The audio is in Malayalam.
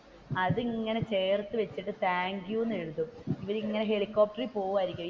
അതിങ്ങനെ ചേർത്ത് വെച്ചിട്ടുതാങ്ക്യൂ എന്ന് എഴുതും ഇവർ ഇങ്ങനെ ഹെലികോപ്റ്ററിൽ പോകുവായിരിക്കും